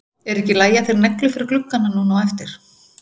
Er ekki í lagi að þeir negli fyrir gluggana núna á eftir?